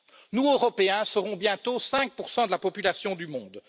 Nous, Européens, seront bientôt 5 de la population du monde.